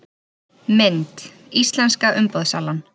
Mynd: Íslenska umboðssalan